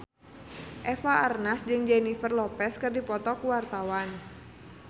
Eva Arnaz jeung Jennifer Lopez keur dipoto ku wartawan